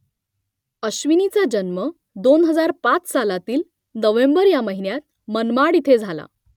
अश्विनीचा जन्म दोन हजार पाच सालातील नोव्हेंबर या महिन्यात मनमाड इथे झाला